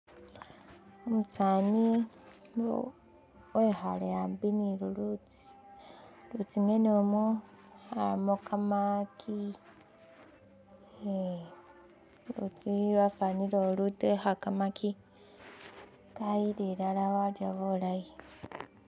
umusani wekhale aambi ni lulutsi ulutsi ng'ene mwo abamo kamakyi ehh lulutsi lwafanile ulutekha kamaki kayila ilala walya bulayi.